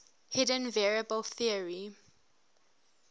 hidden variable theory